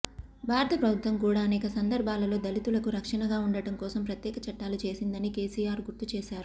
భారత ప్రభుత్వం కూడా అనేక సందర్భాలలో దళితులకు రక్షణగా ఉండడం కోసం ప్రత్యేక చట్టాలు చేసిందని కేసీఆర్ గుర్తు చేశారు